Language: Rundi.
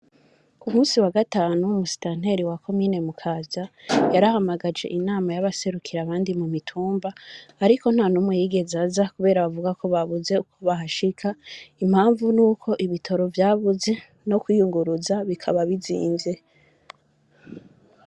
Ku munsi wa gatatu musitanteri wa komine mukaza yarahamagaje inama y,abaserukira abandi kumitumba, ariko ntanumwe yigeze aza kubera bavuga ko babuze uko bahashika, impamvu nuko ibitoro vyabuze no kwiyuguruza bikaba bizimvye.